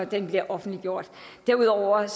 den bliver offentliggjort derudover er